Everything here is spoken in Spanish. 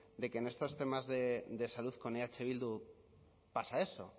de que en estos temas de salud con eh bildu pasa eso